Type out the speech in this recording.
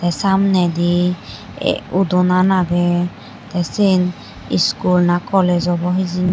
samnaydi udonan aagey tey seane school na college obow hejani.